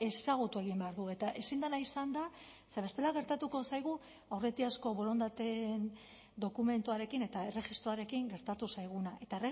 ezagutu egin behar du eta ezin dela izan da ze bestela gertatuko zaigu aurretiazko borondateen dokumentuarekin eta erregistroarekin gertatu zaiguna eta